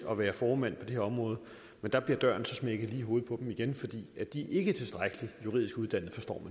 at være formænd på det her område men der bliver døren så smækket lige i hovedet på dem igen fordi de ikke er tilstrækkelig juridisk uddannede forstår